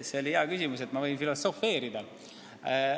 See oli hea küsimus ja ma võin filosofeerida.